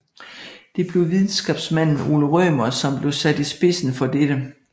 Det blev videnskabsmanden Ole Rømer som blev sat i spidsen for dette